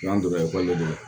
N'an donna ekɔli de la